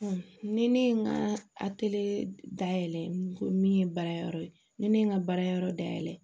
ni ne ye n ka dayɛlɛ ko min ye baara yɔrɔ ye ni ne ye n ka baara yɔrɔ dayɛlɛ